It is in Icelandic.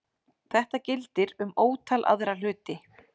Þetta gildir um ótal aðra hluti.